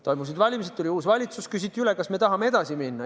Toimusid valimised, tuli uus valitsus, küsiti üle, kas me tahame edasi minna.